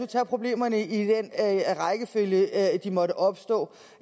tage problemerne i den rækkefølge de måtte opstå